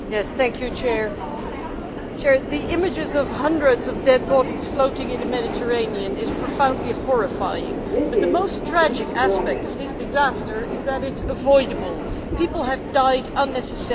Mr President, the images of hundreds of dead bodies floating in the Mediterranean is profoundly horrifying, but the most tragic aspect of this disaster is that it is avoidable people have died unnecessarily.